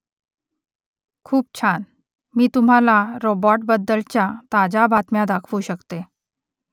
खूप छान . मी तुम्हाला रोबॉटबद्दलच्या ताज्या बातम्या दाखवू शकते